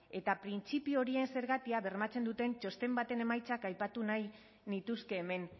eta printzipio horien zergatia bermatzen duten txosten baten emaitzak aipatu nahi nituzke hemen